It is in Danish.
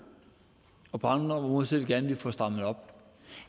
og på andre områder ser vi gerne at vi får strammet op